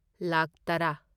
ꯂꯥꯈ ꯇꯔꯥ